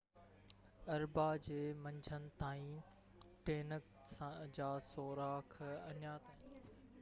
اربع جي منجهند تائين ٽينڪ جا سوراخ اڃا تائين شايد ٽانڪي اندر تھرمل توسيع جي ڪري ليڪ ٿي رهيا هئا